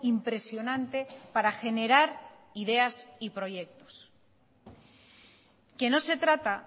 impresionante para generar ideas y proyectos que no se trata